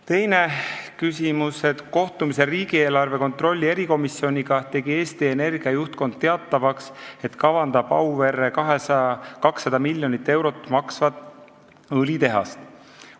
Teine küsimus: "Kohtumisel riigieelarve kontrolli erikomisjoniga tegi Eesti Energia juhtkond teatavaks, et kavandab Auverre 200 miljonit eurot maksvat õlitehast.